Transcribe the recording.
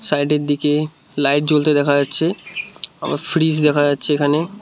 সাইডের দিকে লাইট জ্বলতে দেখা যাচ্ছে আবার ফ্রিজ দেখা যাচ্ছে এখানে।